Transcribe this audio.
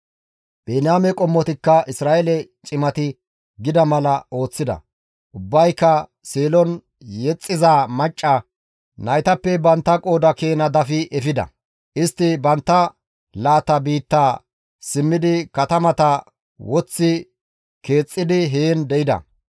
Biniyaame qommotikka Isra7eele cimati gida mala ooththida; ubbayka Seelon yexxiza macca naytappe bantta qooda keena dafi efida. Istti bantta laata biittaa simmidi katamata woththi keexxidi heen de7ida.